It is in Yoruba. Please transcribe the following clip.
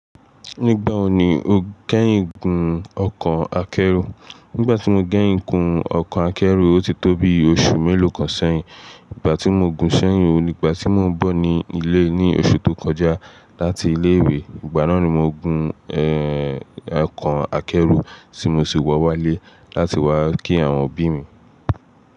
Nígbà wo ni o kẹ́yìn gun ọkọ̀ akẹ́rù? Nígbà tí mo gẹ́yìn gun ọkọ̀ akẹ́rù, ó ti tó bi oṣù mélòó kan sẹ́yìn. Ìgbà tí mo gun ṣẹ́yìn, ó ní ìgbà tí mò ń bọ̀ ní ilé ní oṣù tó kọjá láti ilé ìwé. Ìgbà náà ni mo gun ẹ̀, ọkọ̀ akẹ́rù tí mo sì wọ̀ wá lé láti wá kí àwọn òbí mi.